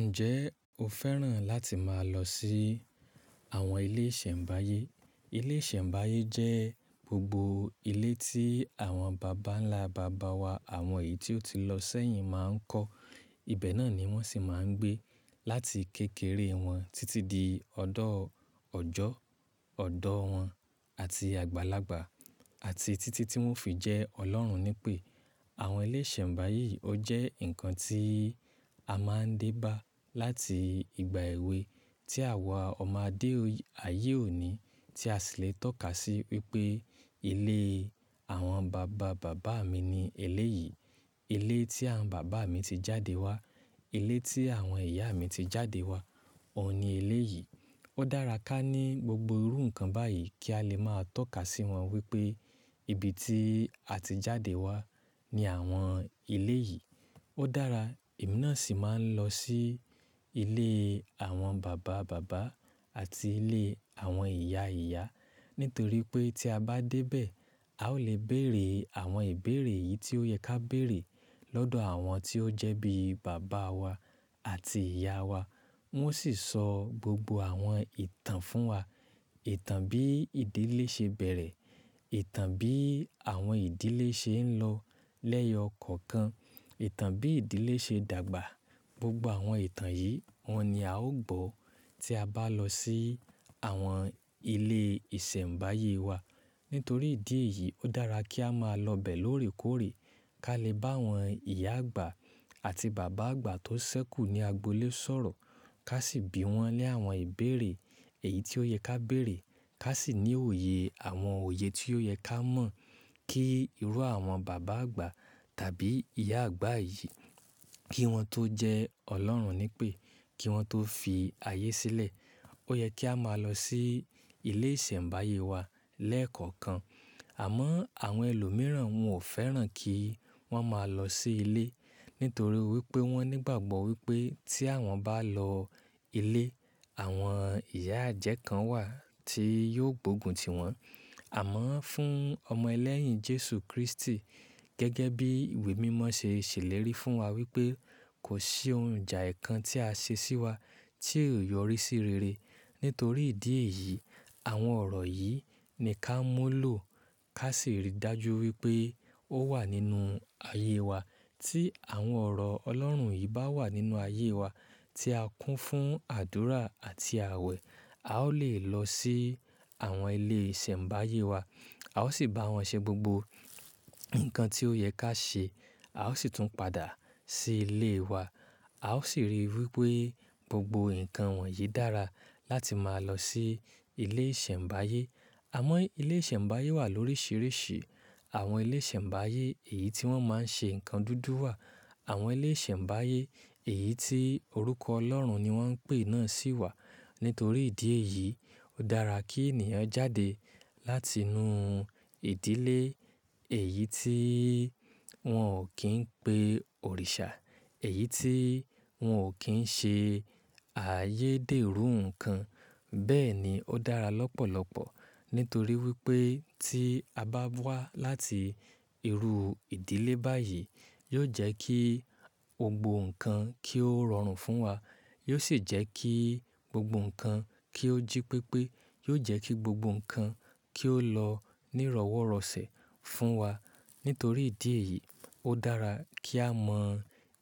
Ǹjẹ́ o fẹ́ràn láti máa lọ sí àwọn ilé ìsẹ̀mbáyé? Ilé ìsẹ̀mbáyé jẹ́ gbogbo ilé tí àwọn bàbá ńlá bàbá wa, àwọn èyí tí ó ti lọ sẹ́yìn máa ń kọ́. Ibẹ̀ náà ni wọ́n sì máa ń gbé láti kékeré wọn títí di ọ̀dọ́ ọjọ́, ọ̀dọ́ wọn àti àgbàlagbà àti títí tí wọ́n fi jẹ́ Ọlọ́run nípè. Àwọn ilé ìsẹ̀mbáyé yìí ó jẹ́ nǹkan tí a máa ń dé bá láti ìgbà èwe tí àwa ọmọ adé ayé òní tí a sì lè tọ́ka sí wípé ilé àwọn bàba bàbá mi ni ilé yìí. Ilé tí àwọn bàbá mi ti jáde wá. Ilé tí àwọn ìyá mi ti jáde wá. Òun ni ilé yìí. Ó dára ká ní gbogbo irú nǹkan báyìí kí a lè máa tọ́ka sí wọn wípé ibi tí a ti jáde wá ni àwọn ilé yìí. Ó dára, èmi náà sì máa ń lọ sí ilé àwọn bàba bàbá àti ilé àwọn ìyá ìyá nítorí pé tí a bá dé bẹ̀, a ó lè bèrè àwọn ìbéèrè yìí tí ó yẹ ká bèrè lọ́dọ̀ àwọn tí ó jẹ́ bí bàbá wa àti ìyá wa. Wọ́n sì sọ gbogbo àwọn ìtàn fún wa. Ìtàn bí ìdílé ṣe bẹ̀rẹ̀, ìtàn bí àwọn ìdílé ṣe ń lọ lẹ́yọ kọ̀ọ̀kan, ìtàn bí ìdílé ṣe dàgbà. Gbogbo àwọn ìtàn yìí wọ́n ni a ó gbọ́ tí a bá lọ sí àwọn ilé ìsẹ̀mbáyé wa. Nítorí ìdí èyí, ó dára kí a máa lọ bẹ̀ lórèkórè kí a lè bá àwọn ìyá àgbà àti bàbá àgbà tó sẹ́kù ní agbo ilé sọ̀rọ̀. Ká sì bi wọ́n ní àwọn ìbéèrè èyí tí ó yẹ ká bèrè. Ká sì ní òye àwọn òye tí ó yẹ ká mọ̀ kí irú àwọn bàbá àgbà tàbí ìyá àgbà yìí kí wọ́n tó jẹ́ Ọlọ́run nípè, kí wọ́n tó fi ayé sílẹ̀. Ó yẹ kí a máa lọ sí ilé ìsẹ̀mbáyé wa lẹ́ẹ̀kọ̀kan. Àmọ́ àwọn ẹlòmíràn wọn ò fẹ́ràn kí wọ́n máa lọ sí ilé nítorí wípé wọ́n nígbàgbọ́ wípé tí àwọn bá lọ ilé, àwọn ìyá àjẹ́ kan wà tí yóò gbógun tiwọn. Àmọ́ fún ọmọ ẹlẹ́yìn Jésù Kristi gẹ́gẹ́ bí ìwé mímọ́ ṣe ṣèlérí fún wa wípé kò sí ohun ìjà ẹ́kan tí a ṣe sí wa tí ò yọrí sí rere. Nítorí ìdí èyí, àwọn ọ̀rọ̀ yìí ni ká mọ́ lò ká sì rí dájú wípé ó wà nínú ayé wa. Tí àwọn ọ̀rọ̀ Ọlọ́run yìí bá wà nínú ayé wa tí a kún fún àdúrà àti àwẹ̀, a ó lè lọ sí àwọn ilé ìsẹ̀mbáyé wa. A ó sì bá wọn ṣe gbogbo nǹkan tí ó yẹ ká ṣe. A ó sì tún padà sí ilé wa. A ó sì rí wípé gbogbo nǹkan wọ̀nyí dára láti máa lọ sí ilé ìsẹ̀mbáyé. Àmọ́ ilé ìsẹ̀mbáyé wà lóríṣiríṣi. Àwọn ilé ìsẹ̀mbáyé èyí tí wọ́n máa ń ṣe nǹkan dúdú wà. Àwọn ilé ìsẹ̀mbáyé èyí tí orúkọ Ọlọ́run ni wọ́n ń pè náà sì wà. Nítorí ìdí èyí, ó dára kí ènìyàn jáde láti inú ìdílé èyí tí wọ́n ò kí ń pe òrìṣà, èyí tí wọn ò kí ń ṣe ààyè dèrú nǹkan. Bẹ́ẹ̀ ni ó dára lọ́pọ̀lọ́pọ̀ nítorí wípé tí a bá wá láti irú ìdílé báyìí, yóò jẹ́ kí gbogbo nǹkan kí ó rọrùn fún wa. Yóò sì jẹ́ kí gbogbo nǹkan kí ó jí pépé. Yóò jẹ́ kí gbogbo nǹkan kí ó lọ ní ìrọ́wọ́rọ̀sẹ̀ fún wa. Nítorí ìdí èyí, ó dára kí a mọ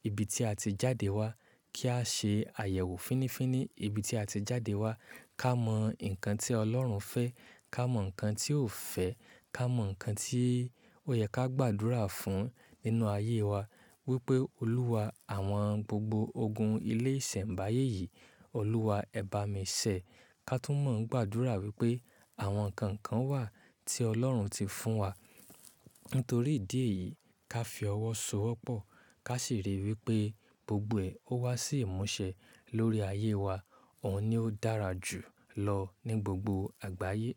ibi tí a ti jáde wá, kí á ṣe àyẹ̀wò fínnífínní ibi tí a ti jáde wá. Ká mọ nǹkan tí Ọlọ́run fẹ́, ká mọ nǹkan tí ò fẹ́, ká mọ nǹkan tí ó yẹ ká gbàdúrà fún nínú ayé wa wípé Olúwa, àwọn gbogbo ogun ilé ìsẹ̀mbáyé yìí, Olúwa ẹ bá mi ṣẹ̀. Ká túmọ̀ ń gbàdúrà wípé àwọn kànǹkàn wà tí Ọlọ́run ti fún wa. Nítorí ìdí èyí, ká fi ọwọ́ so'wọ́pọ̀ ká sì rí i wípé gbogbo ẹ̀ ó wá sí ìmúṣẹ lórí ayé wa. Òun ni ó dára jù lọ ní gbogbo àgbáyé.